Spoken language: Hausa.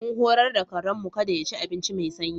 Mun horar da karen mu kada ya ci abinci mai sanyi.